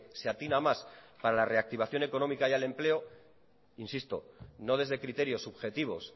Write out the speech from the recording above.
se atina más para la reactivación económica y el empleo insisto no desde criterios subjetivos